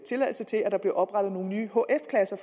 tilladelse til at der bliver oprettet nogle nye hf klasser